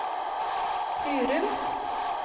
Hurum